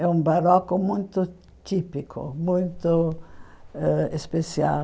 É um barroco muito típico, muito ãh especial.